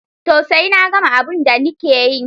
Toh, sai na gama abun da nike yi.